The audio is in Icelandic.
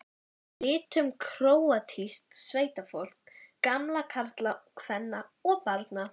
litum króatísks sveitafólks, gamalla karla, kvenna og barna.